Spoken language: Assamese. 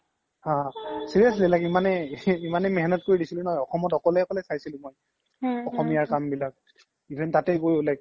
হা seriously like ইমানেই মেহ্নাত কৰি দিছিলো মই অসমত অকলে অকলে চাইছিলো মই অসমীয়া কাম বিলাক even তাতে গৈও like